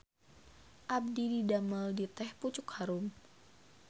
Abdi didamel di Teh Pucuk Harum